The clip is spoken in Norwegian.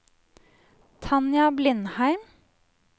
Tanja Blindheim